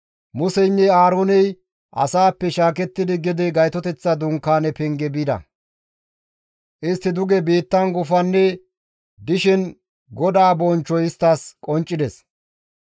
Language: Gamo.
Museynne Aarooney asaappe shaakettidi gede Gaytoteththa Dunkaane penge bida; istti duge biittan gufanni dishin GODAA bonchchoy isttas qonccides.